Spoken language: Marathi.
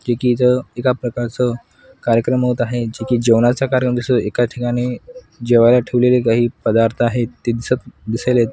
एक इथं एका प्रकारचं कार्यक्रम होत आहे जे की जेवणाचं कार्यन दिसं एका ठिकाणी जेवायला ठेवलेले काही पदार्थ आहेत ते दिसत दिसायलेत.